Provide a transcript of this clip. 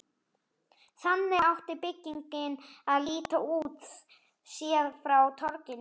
Þannig átti byggingin að líta út, séð frá torginu.